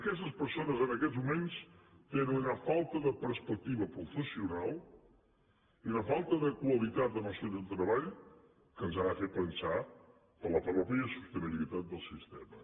aquestes persones en aquests moments tenen una falta de perspectiva professional i una falta de qualitat en el seu lloc de treball que ens han de fer pensar per la mateixa sostenibilitat del sistema